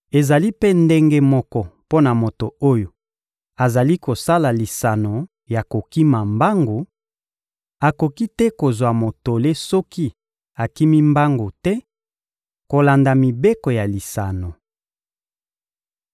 Ezali mpe ndenge moko mpo na moto oyo azali kosala lisano ya kokima mbangu: akoki te kozwa motole soki akimi mbangu te kolanda mibeko ya lisano.